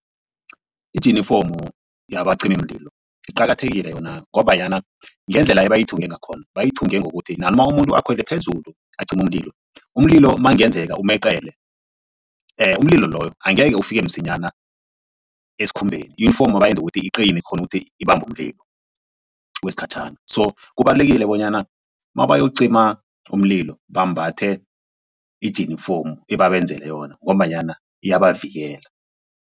Ijinifomu yabacimimlilo iqakathekile yona ngombanyana ngendlela ebayithunge ngakhona bayithenge ngokuthi nanoma umuntu akhwele phezulu acima umlilo, umlilo makungenzeka umeqele umlilo loyo angekhe ufike msinyana esikhumbeni iyunifomu bayenze ukuthi iqine ikghone ukuthi ibambe umlilo wesikhatjhana. So kubalulekile bonyana mabayokucima umlilo bambathe ijinifomu ebabenzele yona ngombanyana iyabavikela.